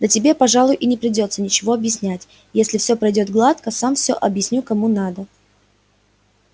да тебе пожалуй и не придётся ничего объяснять если все пройдёт гладко сам всё объясню кому надо